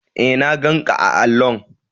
E, na ganƙa a allo.